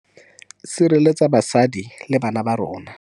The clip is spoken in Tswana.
Sireletsa basadi le bana ba rona.